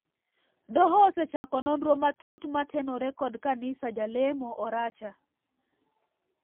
Doho osechako nondro matut matenore kod kanisa jalemo Oracha